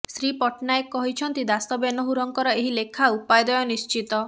ଶ୍ରୀ ପଟ୍ଟନାୟକ କହିଛନ୍ତି ଦାଶ ବେନହୁରଙ୍କର ଏହି ଲେଖା ଉପାଦେୟ ନିଶ୍ଚିତ